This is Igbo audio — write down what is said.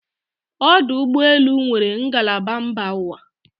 ọdụ ụgbọ elu nwere ngalaba mba ụwa